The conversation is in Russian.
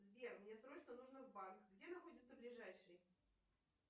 сбер мне срочно нужно в банк где находится ближайший